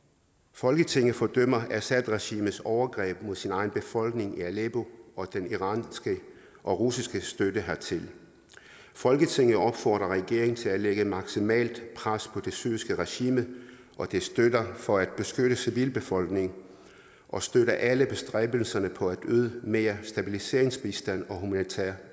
folketinget fordømmer assadregimets overgreb mod dets egen befolkning i aleppo og den iranske og russiske støtte hertil folketinget opfordrer regeringen til at lægge maksimalt pres på det syriske regime og dets støtter for at beskytte civilbefolkningen og støtter alle bestræbelser på at yde mere stabiliseringsbistand og human